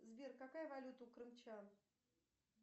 сбер какая валюта у крымчан